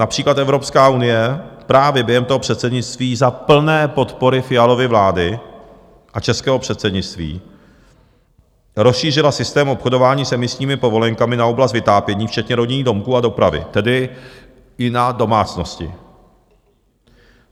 Například Evropská unie právě během toho předsednictví za plné podpory Fialovy vlády a českého předsednictví rozšířila systém obchodování s emisními povolenkami na oblast vytápění, včetně rodinných domků a dopravy, tedy i na domácnosti.